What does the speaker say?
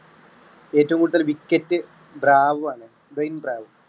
ഏറ്റവും കൂടുതൽ wicket Bravo ആണ് ട്വയിൻ ബ്രാവോ.